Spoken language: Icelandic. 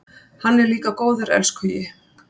Hann er líka góður elskhugi.